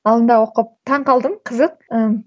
алдында оқып таңғалдым қызық ы